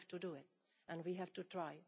We have to do it and we have to try.